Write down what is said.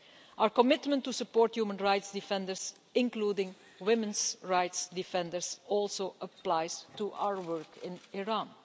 Our commitment to support human rights defenders, including women's rights defenders, also applies to our work in Iran.